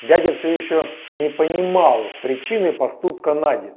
дядя все ещё не понимал причины поступка нади